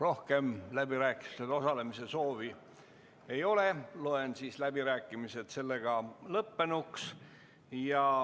Rohkem läbirääkimistel osalemise soovi ei ole ja loen läbirääkimised lõppenuks.